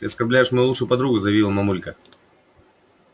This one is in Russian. ты оскорбляешь мою лучшую подругу заявила мамулька